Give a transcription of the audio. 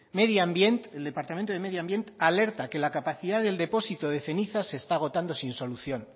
medi ambient el departamento de medio ambiente alerta que la capacidad del depósito de cenizas se está agotando sin solución